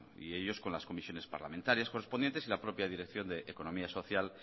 y ellos con las comisiones parlamentarias correspondientes y la propia dirección de economía social